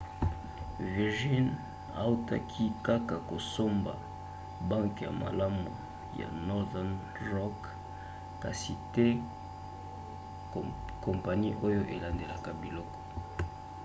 virgin autaki kaka kosomba 'banke ya malamu' ya northern rock kasi te kompani oyo elandelaka biloko